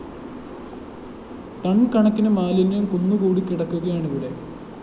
ton കണക്കിന് മാലിന്യ കുന്നുകൂടിക്കിടക്കുകയാണിവിടെ